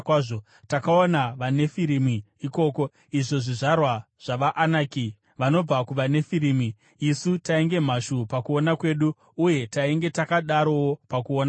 Takaona vaNefirimi (izvo zvizvarwa zvavaAnaki vanobva kuvaNefirimi) ikoko. Isu tainge mhashu pakuona kwedu, uye tainge takadarowo pakuona kwavo.”